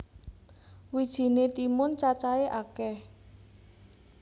Wijiné timun cacahé akèh